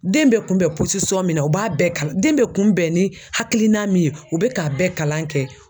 Den bɛɛ kun bɛn min na o b'a bɛɛ kalan, den bɛɛ kun bɛn ni hakilina min ye u bɛ k'a bɛɛ kalan kɛ.